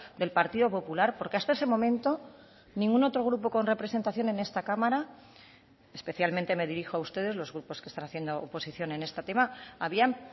del partido popular porque hasta ese momento ningún otro grupo con representación en esta cámara especialmente me dirijo a ustedes los grupos que están haciendo oposición en este tema habían